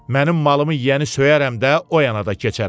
Mənim malımı yiyəni söyərəm də, o yana da keçərəm.